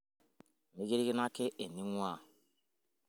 mikirikino ake eningwaa